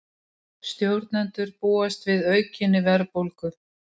Stjórnendur búast við aukinni verðbólgu